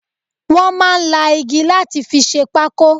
Wọn máa ń la igi láti fi ṣe pákó